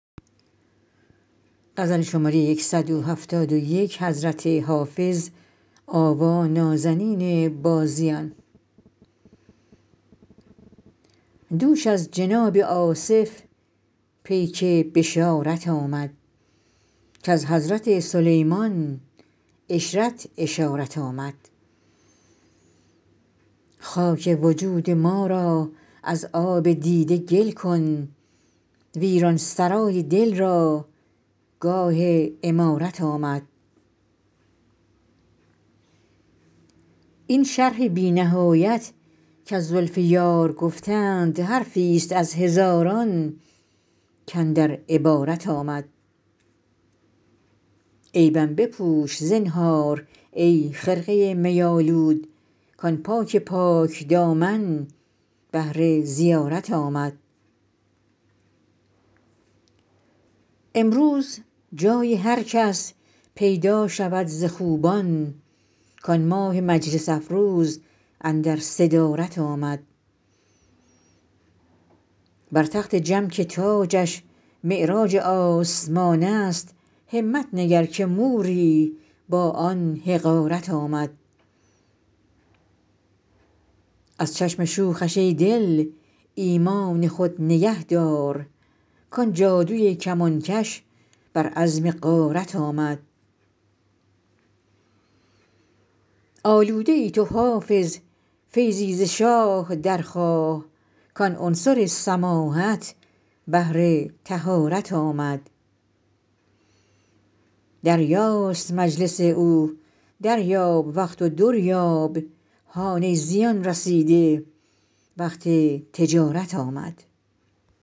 دوش از جناب آصف پیک بشارت آمد کز حضرت سلیمان عشرت اشارت آمد خاک وجود ما را از آب دیده گل کن ویران سرای دل را گاه عمارت آمد این شرح بی نهایت کز زلف یار گفتند حرفی ست از هزاران کاندر عبارت آمد عیبم بپوش زنهار ای خرقه می آلود کآن پاک پاک دامن بهر زیارت آمد امروز جای هر کس پیدا شود ز خوبان کآن ماه مجلس افروز اندر صدارت آمد بر تخت جم که تاجش معراج آسمان است همت نگر که موری با آن حقارت آمد از چشم شوخش ای دل ایمان خود نگه دار کآن جادوی کمانکش بر عزم غارت آمد آلوده ای تو حافظ فیضی ز شاه درخواه کآن عنصر سماحت بهر طهارت آمد دریاست مجلس او دریاب وقت و در یاب هان ای زیان رسیده وقت تجارت آمد